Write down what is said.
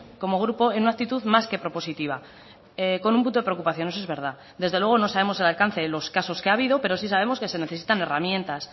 como grupo en una actitud más que propositiva con un punto de preocupación eso es verdad desde luego no sabemos el alcance de los casos que ha habido pero sí sabemos que se necesitan herramientas